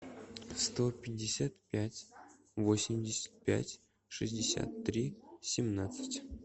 сто пятьдесят пять восемьдесят пять шестьдесят три семнадцать